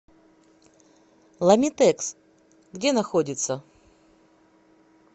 ламитекс где находится